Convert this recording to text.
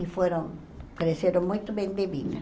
E foram, cresceram muito bem de vida.